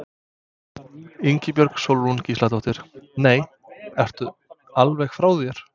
Ingibjörg Sólrún Gísladóttir: Nei, ertu alveg frá þér?